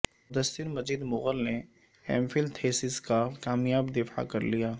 مدثر مجید مغل نے M Phil thesis کا کامیاب دفاع کر لیا